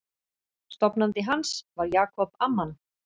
Stofnandi hans var Jacob Amman.